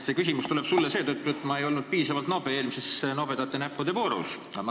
See küsimus tuleb sulle seetõttu, et ma ei olnud piisavalt nobe eelmises nobedate näppude voorus.